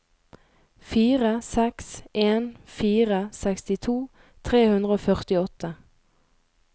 fire seks en fire sekstito tre hundre og førtiåtte